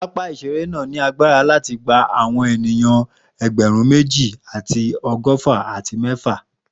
Papa iṣere naa ni agbara ti awọn eniyan ẹgbẹrun meji ati ọgọfa ati mẹfa.